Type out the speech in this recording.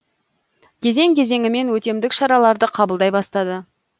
кезең кезеңімен өтемдік шараларды қабылдай бастады